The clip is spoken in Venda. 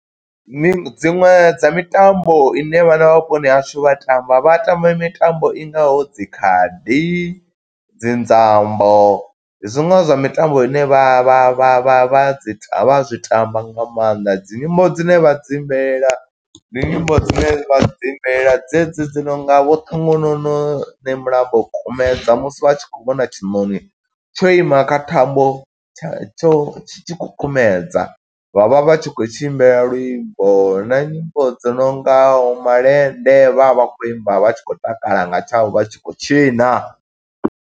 Dziṅwe dza mitambo ine vhana vha vhuponi hashu vha tamba, vha tamba mitambo i ngaho dzi khadi, dzi nzambo. Zwiṅwe zwa mitambo ine vha vha vha vha vha dzi ta vha zwi tamba nga maanḓa. Dzi nyimbo dzine vha dzi imbelela, ndi nyimbo dzine vha dzi imbelela dze dzi dzi nonga vho ṱhongonono ne mulambo kumedza musi vha tshi khou vhona tshiṋoni tsho ima kha thambo tsha tsho tshi tshi khou kumedza. Vha vha vha tshi khou tshi imbela luimbo, na nyimbo dzo nongaho malende, vha vha vha khou imba, vha tshi khou takala nga tshavho vha tshi khou tshina.